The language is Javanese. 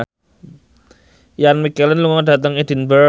Ian McKellen lunga dhateng Edinburgh